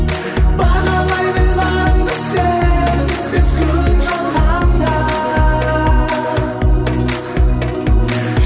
бағалай біл барыңды сен бес күн жалғанда